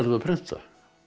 prenta